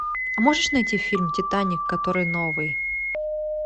а можешь найти фильм титаник который новый